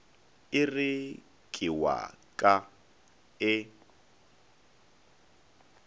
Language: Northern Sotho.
ere ke wa ka e